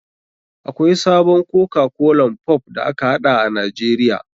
Akwai sabon koka kolan pop da aka haɗa a nijeria.